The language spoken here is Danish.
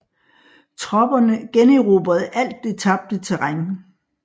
Tropperne generobrede alt det tabte terræn